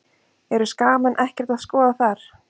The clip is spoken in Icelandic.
Eru Skagamenn ekkert að skoða þar?